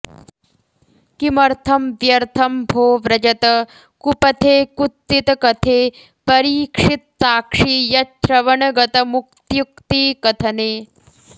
किमर्थं व्यर्थं भो व्रजत कुपथे कुत्सितकथे परीक्षित्साक्षी यच्छ्रवणगतमुक्त्युक्तिकथने